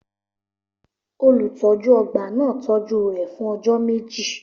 Olùtọ́jú ọgbà náà tọ́jú rẹ̀ fún ọjọ́ méjì.